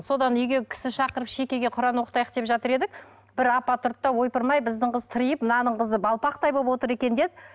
содан үйге кісі шақырып шекеге құран оқытайық деп жатыр едік бір апа тұрды да ойпырым ай біздің қыз тыриып мынаның қызы балпақтай болып отыр екен деді